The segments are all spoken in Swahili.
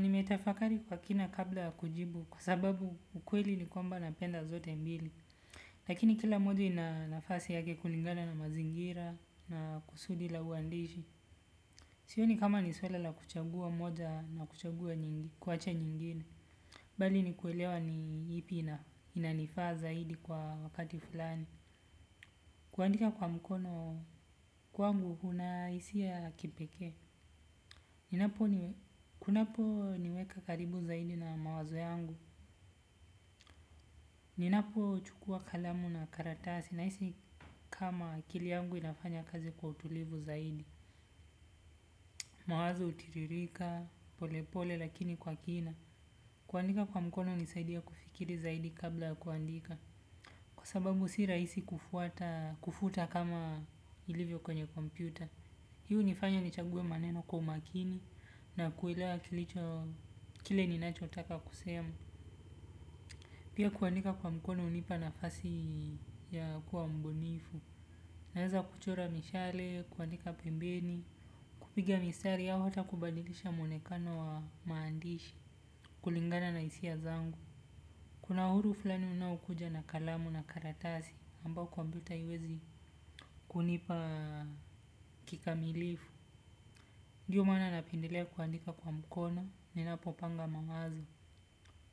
Nimetafakari kwa kina kabla ya kujibu kwa sababu ukweli ni kwamba napenda zote mbili. Lakini kila moja ina nafasi yake kulingana na mazingira na kusudi la uandishi. Sioni kama ni swala la kuchagua moja na kuwacha nyingine. Bali ni kuelewa ni ipi inanifaa zaidi kwa wakati fulani. Kuandika kwa mkono kwangu huna isia ya kipeke. Kunaponiweka karibu zaidi na mawazo yangu. Ninapochukua kalamu na karatasi naisi kama akili yangu inafanya kazi kwa utulivu zaidi. Mawazo utiririka, pole pole lakini kwa kina. Kuandika kwa mkono unisaidia kufikiri zaidi kabla ya kuandika. Kwa sababu si raisi kufuta kama ilivyo kwenye kompyuta. Hii hunifanya nichaguwe maneno kwa umakini na kuelewa kile ninachotaka kusema. Pia kuandika kwa mkono unipa nafasi ya kuwa mbunifu. Naeza kuchora mishale, kuandika pembeni, kupiga mistari au hata kubadilisha mwonekano wa maandishi, kulingana na isia zangu. Kuna huru fulani unaokuja na kalamu na karatasi ambao kompyuta haiwezi kunipa kikamilifu. Ndiyo maana napendelea kuandika kwa mkono ninapopanga mawazo,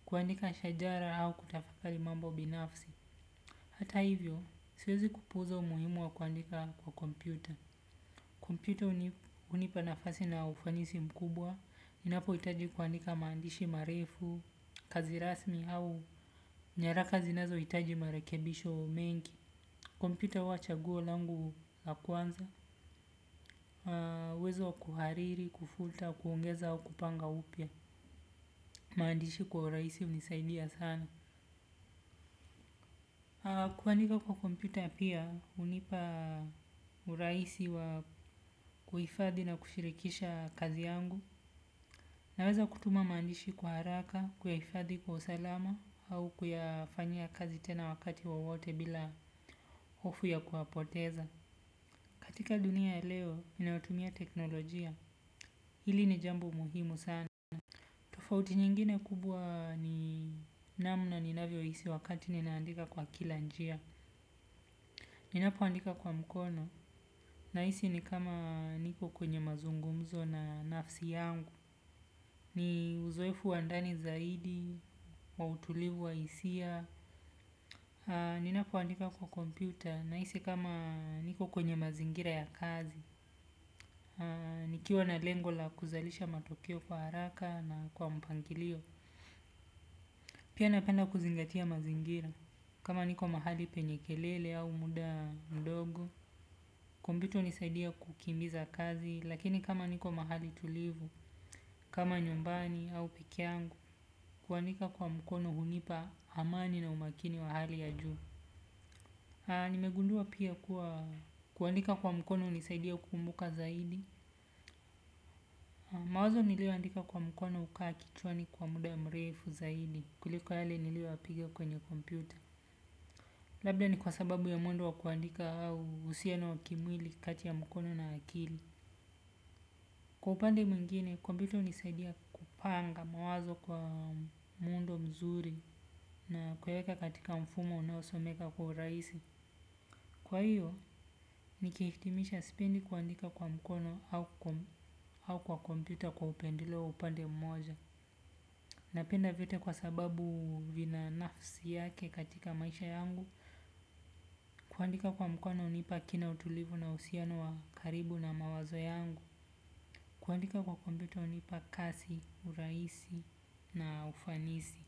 kuandika shajara au kutafakari mambo binafsi. Hata hivyo, siwezi kupuuza umuhimu wa kuandika kwa kompyuta. Kompyuta unipa nafasi na ufanisi mkubwa, ninapoitaji kuandika maandishi marefu, kazi rasmi au nyaraka zinazoitaji marekebisho mengi. Kompyuta uwa chaguo langu la kwanza, uwezo wa kuhariri, kufuta, kuongeza au kupanga upya. Maandishi kwa uraisi unisaidia sana. Kuandika kwa kompyuta pia unipa uraisi wa kuhifadhi na kushirikisha kazi yangu. Naweza kutuma maandishi kwa haraka, kuyahifadhi kwa usalama au kuyafanyia kazi tena wakati wowote bila hofu ya kuwapoteza. Katika dunia ya leo, inayotumia teknolojia. Hili ni jambo muhimu sana. Tofauti nyingine kubwa ni namna ninavyo isi wakati ninaandika kwa kila njia. Ninapoandika kwa mkono, naisi ni kama niko kwenye mazungumzo na nafsi yangu. Ni uzoefu wa ndani zaidi, wa utulivu wa isia. Ninapoandika kwa kompyuta, naisi kama niko kwenye mazingira ya kazi. Nikiwa na lengo la kuzalisha matokeo kwa haraka na kwa mpangilio. Pia napenda kuzingatia mazingira, kama niko mahali penye kelele au muda ndogo. Kompyuta unisaidia kukimbiza kazi, lakini kama niko mahali tulivu, kama nyumbani au peke yangu, kuandika kwa mkono hunipa amani na umakini wa hali ya juu. Nimegundua pia kuwa kuandika kwa mkono unisaidia kumbuka zaidi. Mawazo nilioandika kwa mkono ukaa kichwani kwa muda mrefu zaidi, kuliko yale nilio yapiga kwenye kompyuta. Labda ni kwa sababu ya mwendo wa kuandika au husiano wa kimwili kati ya mkono na akili. Kwa upande mwingine, kompyuta unisaidia kupanga mawazo kwa muundo mzuri na kuyaeka katika mfumo unaosomeka kwa uraisi. Kwa hiyo, nikihitimisha spendi kuandika kwa mkono au kwa kompyuta kwa upendeleo wa upande mmoja. Napenda vyote kwa sababu vina nafsi yake katika maisha yangu. Kuandika kwa mkono unipa kina utulivu na husiano wa karibu na mawazo yangu. Kuandika kwa kompyuta unipa kasi, uraisi na ufanisi.